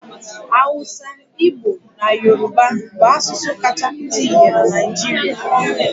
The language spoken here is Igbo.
Awụsa, Igbo na Yoruba bụ asụsụ kacha pụta ìhè na Naịjirịa.